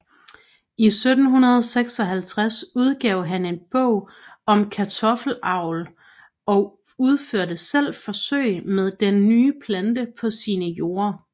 I 1756 udgav han en bog om kartoffelavl og udførte selv forsøg med den nye plante på sine jorder